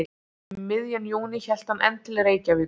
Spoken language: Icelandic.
Um miðjan júní hélt hann enn til Reykjavíkur.